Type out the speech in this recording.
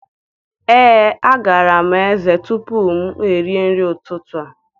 Ee, agara m ezé tupu m erie nri ụtụtụ a.